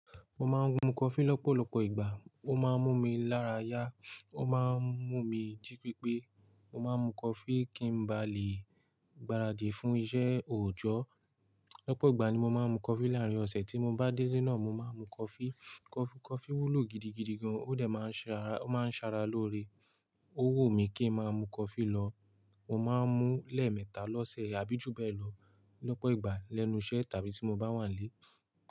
Mo ma ń mu coffee lọ́pọ̀lọpọ̀ ìgbà. Ó máa ń mú mi lára yá, ó máa ń mú mi jí pípé. Mo máa ń mu coffee kí n ba lè gbaradì fún iṣẹ́ òòjọ́. Lọ́pọ̀ ìgbà ni mo máa ń mu coffee. Láàárín ọ̀sẹ̀ tí mo bá délé náà, mo máa ń mu coffee. Coffee wúlò gidigidi gan, ó dẹ̀ máa ń ṣara, ó máa ń ṣara lórí. Ó wù mí kí n máa mu coffee lọ. Mo ma ń mu ní ẹ̀ẹ̀mẹta lọ́sẹ̀ àbí jù bẹ́ẹ̀ lọ lọ́pọ̀ ìgbà lẹ́nu iṣẹ́ tàbí tí mo bá wà nílé.